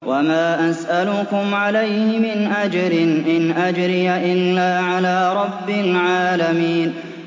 وَمَا أَسْأَلُكُمْ عَلَيْهِ مِنْ أَجْرٍ ۖ إِنْ أَجْرِيَ إِلَّا عَلَىٰ رَبِّ الْعَالَمِينَ